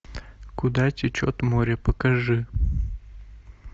куда течет море покажи